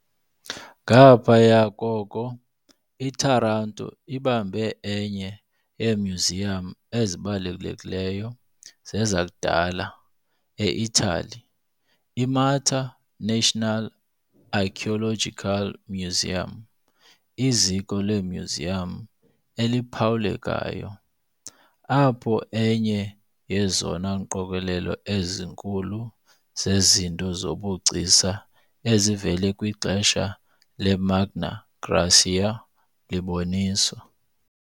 Ngaphaya koko, iTaranto ibamba enye yeemyuziyam ezibalulekileyo zezakudala e-Itali, iMARTA National Archaeological Museum, iziko lemyuziyam eliphawulekayo, apho enye yezona ngqokelela ezinkulu zezinto zobugcisa ezivela kwixesha leMagna Graecia liboniswa.